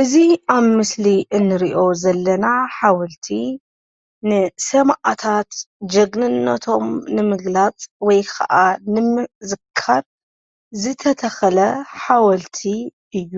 እዚ ኣብ ምስሊ እንሪኦ ዘለና ሓወልቲ ንሰማእታት ጀግንነቶም ንምግላፅ ወይ ኸኣ ንምዝካር ዝተተኸለ ሓወልቲ እዩ፡፡